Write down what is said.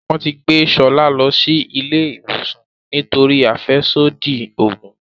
Wón tí gbé Shola ló sì ilé ìwòsàn nítorí afẹsodi oògùn.